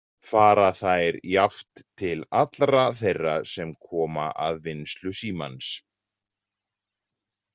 Fara þær jafnt til allra þeirra sem koma að vinnslu símans?